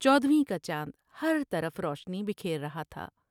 چودھویں کا چاند ہر طرف روشنی بکھیر رہا تھا ۔